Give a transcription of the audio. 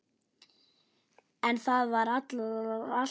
En það var alltaf þannig.